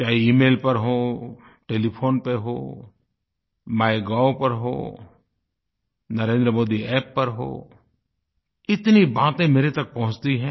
चाहे इमेल पर हो टेलीफोन पर हो माइगोव पर हो NarendraModiApp पर हो इतनी बातें मेरे तक पहुँचती हैं